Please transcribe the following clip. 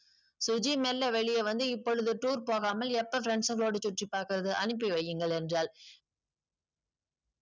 சுஜி மெல்ல வெளியே வந்து இப்பொழுது tour போகாமல் எப்பொழுது friends ஓட சுற்றி பார்ப்பது அனுப்பி வையுங்கள் என்றால்